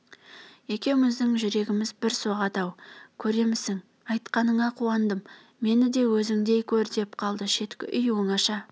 екеуміздің жүрегіміз бір соғады-ау көремісің айтқаныңа қуандым мені де өзіңдей көр деп қалды шеткі үй оңаша